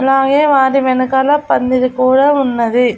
అలాగే వాటి వెనకాల పందిరి కూడా ఉన్నది.